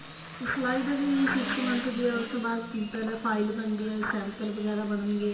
ਸਿਲਾਈ ਦਾ ਜੀ six month ਦੀ ਹੈ ਉਸ ਤੋ ਬਾਅਦ ਪਹਿਲੇ file ਬਣਦੀ ਏ sample ਵਗੈਰਾ ਬਣਗੇ